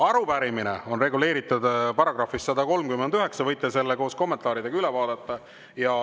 Arupärimine on reguleeritud §‑s 139, te võite selle koos kommentaaridega üle vaadata.